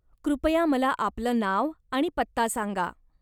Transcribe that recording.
कृपया मला आपलं नाव आणि पत्ता सांगा.